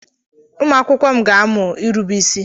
Ụmụ akwụkwọ m ga-amụ irube isi.